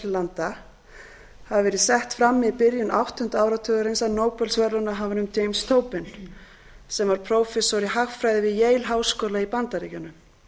landa hafi verið sett fram í byrjun áttunda áratugarins af nóbelsverðlaunahafanum james tobin sem var prófessor í hagfræði við yale háskóla í bandaríkjunum